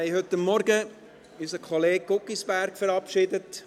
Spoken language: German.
Wir haben heute Morgen unseren Kollegen Guggisberg verabschiedet.